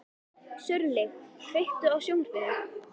Sörli, kveiktu á sjónvarpinu.